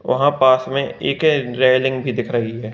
वहां पास में एक रेलिंग भी दिख रही है।